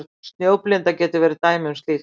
Snjóblinda getur verið dæmi um slíkt.